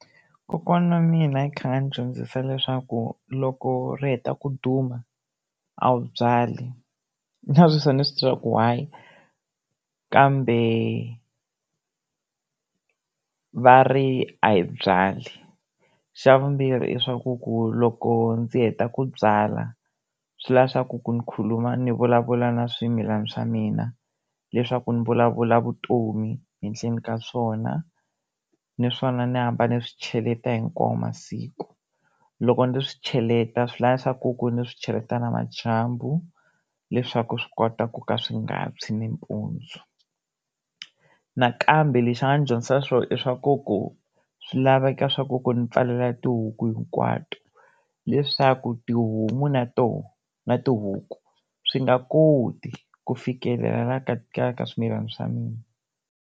Kokwana wa mina u tlhele a ndzi dyondzisa leswaku loko ri heta ku duma a wu byali na sweswi a ndzi swi tivi swa ku why, kambe va ri a hi byali. Xa vumbirhi i swaku ku loko ndzi heta ku byala swi la swaku ni khuluma ndzi vulavula na swimilana swa mina leswaku ni vulavula vutomi henhleni ka swona, ni swona ndzi hamba ndzi swi cheleta hikwawo masiku. Loko ndzi swi cheleta swi la swaku ku ndzi swi cheleta namadyambu, leswaku swi kota ku ka ka swi nga tshwi nampundzu. Nakambe leswi a nga ni dyondzisa swona i swa ku ku swi lava ni pfalela tihuku hinkwato leswaku tihomo na tona na tihuku swi nga koti ku fikelela ka ka swimilani swa mina.